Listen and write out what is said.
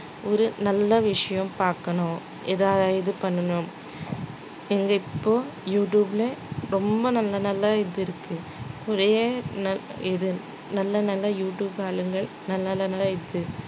ஒரு நல்ல விஷயம் பாக்கணும். ஏதாவது இது பண்ணணும் எங்க இப்போ யூடியூப்ல ரொம்ப நல்ல நல்லா இது இருக்கு ஒரே இது நல்ல நல்ல யூஆளுங்க நல்ல நல்ல